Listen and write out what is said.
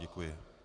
Děkuji.